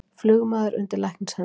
Flugmaður undir læknishendur